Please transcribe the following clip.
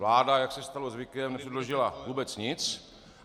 Vláda, jak se stalo zvykem, nepředložila vůbec nic.